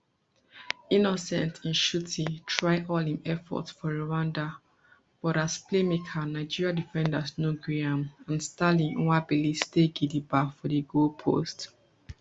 innocent nshuti try all im efforts for rwanda but as playmaker nigeria defenders no gree am and stanley nwabali stay gidigba for di goalppost